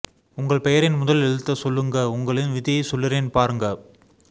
உங்கள் பெயரின் முதல் எழுத்த சொல்லுங்க உங்களின் விதியை சொல்லுறேன் பாருங்க